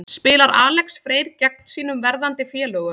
Spilar Alex Freyr gegn sínum verðandi félögum?